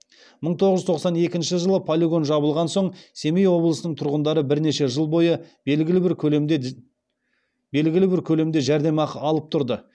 мың тоғыз жүз тоқсан екінші жылы полигон жабылған соң семей облысының тұрғындары бірнеше жыл бойы белгілі бір көлемде жәрдемақы алып тұрды